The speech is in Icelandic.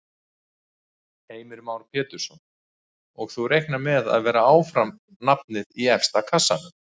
Heimir Már Pétursson: Og þú reiknar með að vera áfram nafnið í efsta kassanum?